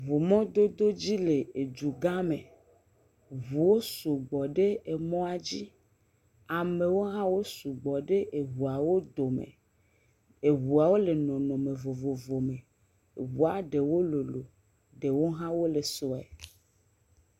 Ŋumɔdodo dzi le edugã me. Ŋuwo sugbɔ ɖe emɔa dzi. Amewo hã wo sugbɔ ɖe eŋuawo dome. Euawo le nɔnɔme vovovo me. eŋua ɖewo lol ɖewo hã wole sue.